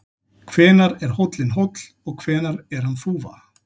Hvenær er hóllinn hóll og hvenær er hann þúfa?